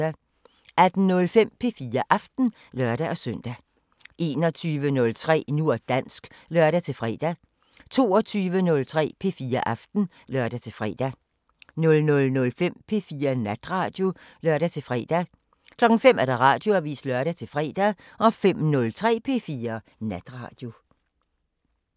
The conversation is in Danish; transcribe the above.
18:05: P4 Aften (lør-søn) 21:03: Nu og dansk (lør-fre) 22:03: P4 Aften (lør-fre) 00:05: P4 Natradio (lør-fre) 05:00: Radioavisen (lør-fre) 05:03: P4 Natradio